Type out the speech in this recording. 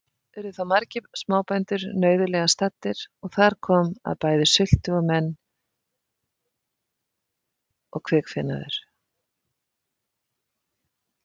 Urðu þá margir smábændur nauðulega staddir, og þar kom að bæði sultu menn og kvikfénaður.